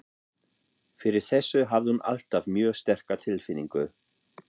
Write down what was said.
Fyrir þessu hafði hún alltaf mjög sterka tilfinningu.